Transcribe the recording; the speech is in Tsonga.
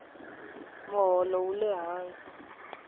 moholo wule hansi